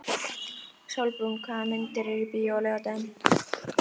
Sólbrún, hvaða myndir eru í bíó á laugardaginn?